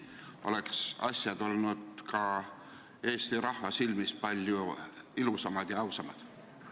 Siis oleks see ka Eesti rahva silmis palju ilusam ja ausam välja näinud.